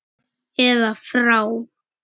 eða frá.